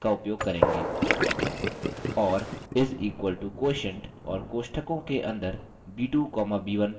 और is equal to quotient और कोष्टकों के अंदर b2 comma b1 type करें